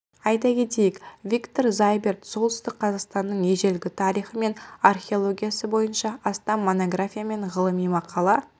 айта кетейік виктор зайберт солтүстік қазақстанның ежелгі тарихы мен археологиясы бойынша астам монография мен ғылыми мақала